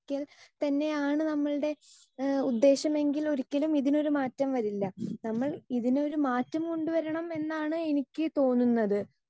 Speaker 2 ക്കൽ തന്നെയാണ് നമ്മളുടെ ഉദ്ദേശമെങ്കിൽ ഒരിക്കലും ഇതിനൊരു മാറ്റം വരില്ല. നമ്മൾ ഇതിനൊരു മാറ്റം കൊണ്ടുവരണം എന്നാണ് എനിക്ക് തോന്നുന്നത്